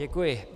Děkuji.